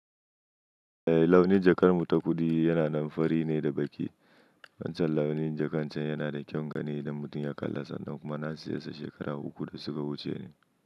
Eh launin jakar mu ta kuɗi yana nan fari ne da baƙi. Wancan launin jakan can yana da kyan gani idan mutum ya kalla sannan kuma na siya shi shekaru uku da suka wuce ne.